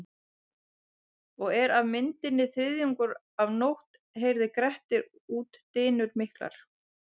Og er af myndi þriðjungur af nótt heyrði Grettir út dynur miklar.